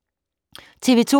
TV 2